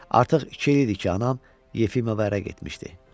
Artıq iki il idi ki, anam Yefimova ərə getmişdi.